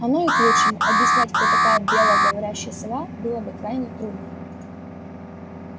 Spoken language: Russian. оно и к лучшему объяснять кто такая белая говорящая сова было бы крайне трудно